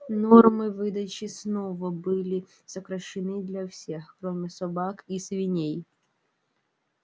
нормы выдачи снова были сокращены для всех кроме собак и свиней